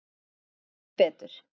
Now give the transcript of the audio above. Hún gerði gott betur.